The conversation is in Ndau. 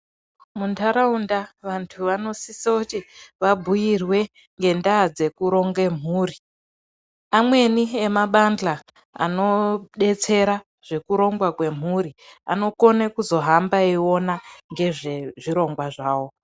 Muntaraunda vantu vanosisoti vabhuyirwe ngendaa dzekuronge mhuri. Amweni emabanhla anodetsera zvekurongwa kwemhuri, anokone kuzohamba eyiona ngezvezvirongwa zvawo.